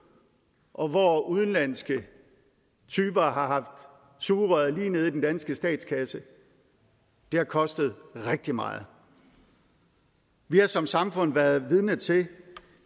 og hvor udenlandske typer har haft sugerøret nede i den danske statskasse det har kostet rigtig meget vi har som samfund været vidne til